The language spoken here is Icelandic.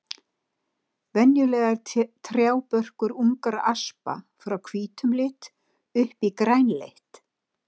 Venjulega er trjábörkur ungra aspa frá hvítum lit upp í grænleitt.